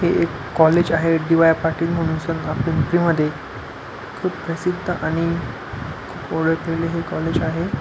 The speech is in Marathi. हे एक कॉलेज आहे डी.वाय पाटील म्हणुन पिंपरी मध्ये खुप प्रसिद्ध आणि खुप ओळखलेल हे कॉलेज आहे.